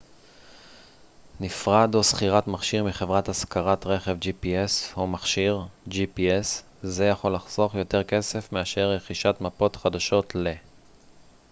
זה יכול לחסוך יותר כסף מאשר רכישת מפות חדשות ל-gps או מכשיר gps נפרד או שכירת מכשיר מחברת השכרת רכב